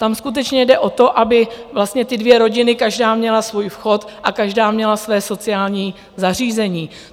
Tam skutečně jde o to, aby vlastně ty dvě rodiny každá měla svůj vchod a každá měla své sociální zařízení.